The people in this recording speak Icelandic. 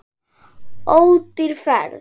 Ódýr ferð.